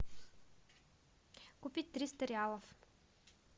купить триста реалов